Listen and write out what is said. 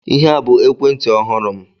Ihe a bụ ekwentị ọhụrụ m.